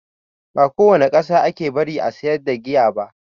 Ba a kowane ƙasa ake bari a sayar da giya ba.